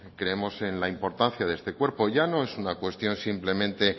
creemos en la importancia de este cuerpo ya no es una cuestión simplemente